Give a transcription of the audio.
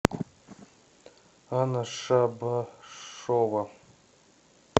анна шабашова